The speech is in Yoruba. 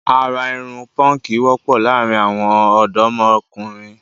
Àrà irun póńkì wọ́pọ̀ láàrin àwọn ọ̀dọ́mokùnrin